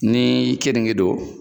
Ni keninge don